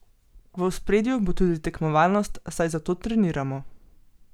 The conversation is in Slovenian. V ospredju bo tudi tekmovalnost, saj za to treniramo.